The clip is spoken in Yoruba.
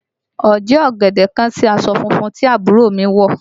Oje ọ̀gẹ̀dẹ̀ kán sí aṣọ funfun tí àbúrò mi wọ̀